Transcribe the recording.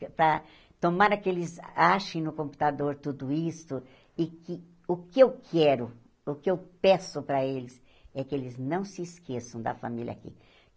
Para tomara que eles achem no computador tudo isso e que o que eu quero, o que eu peço para eles é que eles não se esqueçam da família aqui.